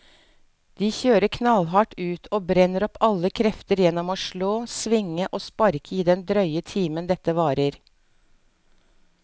De kjører knallhardt ut og brenner opp alle krefter gjennom å slå, svinge og sparke i den drøye timen dette varer.